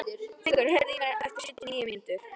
Fengur, heyrðu í mér eftir sjötíu og níu mínútur.